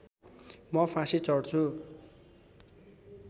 म फाँसी चढ्छु